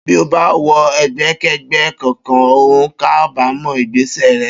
Bí o bá wo̩ e̩gbé̩ké̩gbé̩ kankan, o óò kábàámò̩ ìgbésè̩ re̩